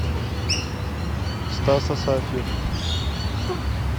стас асафьев